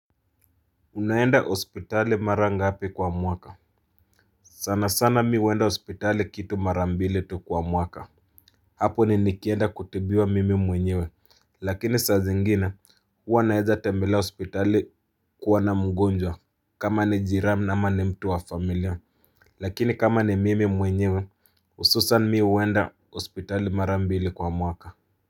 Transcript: Unaenda hospitali mara ngapi kwa mwaka sana sana mimi huenda hospitali kitu mara mbili tu kwa mwaka Hapo ni nikienda kutibiwa mimi mwenyewe lakini saa zingine huwa naeza tembelea hospitali kuona mgonjwa kama ni jirani ama ni mtu wa familia lakini kama ni mimi mwenyewe ususani mi uenda hospitali mara mbili kwa mwaka.